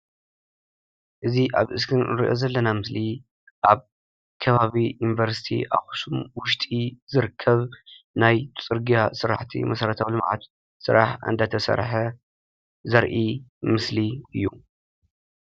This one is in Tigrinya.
እዚ አብ እስክሪን እንሪኦ ዘለና ምስሊ አብ ከባቢ ዩኒቨርሲቲ አክሱም ውሽጢ ዝርከብ ናይ ፅርግያ ስራሕቲ መሰረታዊ ልምዓት ስራሕ እንዳተሰርሐ ዘርኢ ምስሊ እዩ፡፡